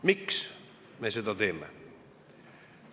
Miks me seda teeme?